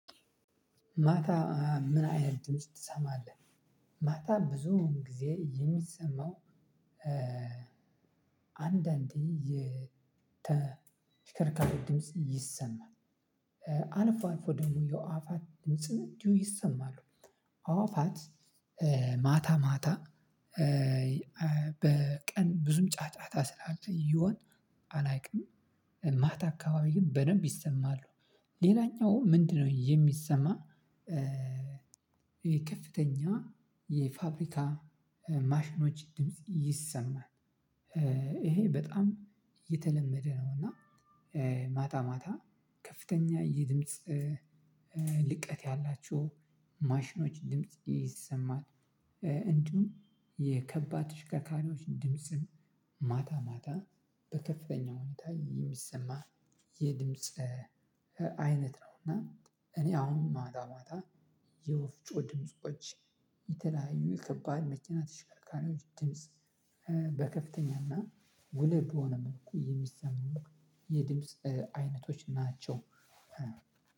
ማታ ምን አይነት ድምጽ ትሰማለህ? ማታ ብዙ ጊዜ የሚሰማው አንዳንዴ የተሽከርካሪ ድምጽ ይሰማል አልፎ አልፎ ደግሞ የአዋፋት ድምጽ እንዲህ ይሰማሉ አዋፋት ማታ ማታ በቀን ብዙም ጫጫታ ስላለ ይሆን አላውቅም ማታ አካባቢ ግን በደንብ ይሰማሉ ሌላኛው ምንድነው የሚሰማ የከፍተኛ የፋብሪካ ማሽኖች ድምጽ ይሰማል። ይሄ በጣም የተለመደ ነው እና ማታ ማታ ከፍተኛ የድምጽ ልቀት ያላችሁ ማሽኖች ድምጽ ይሰማል እንዲሁም የከባድ ተሽከርካሪዎች ድምጽም ማታ ማታ በከፍተኛ ሁኔታ የሚሰማ የድምጽ አይነት ነው እና እኔ አሁን ማታ ማታ የወፍጮ ድምጾች የተለያዩ ከባድ መኪና ተሽከርካሪዎች ድምጽ በከፍተኛና ጉልህ በሆነ መልኩ የሚሰሙ የድምጽ አይነቶች ናቸው።